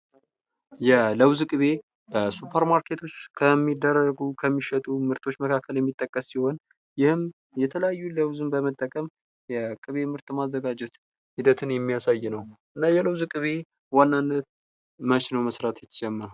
የለውዝ ቅቤ በሱፐር ማርኬቶች ከሚደረጉ ከሚሸጡ መካከል የሚጠቀስ ሲሆን ይህም የተለያዩ ለውዝን በመጠቀም የቅቤ ምርት ማዘጋጀት ሂደትን የሚያሳይ ነው። እና የለውዝ ቅቤ በዋናነት መች ነው መስራት የተጀመረው?